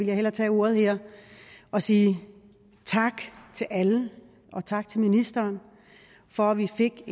jeg hellere tage ordet her og sige tak til alle og tak til ministeren for at vi fik et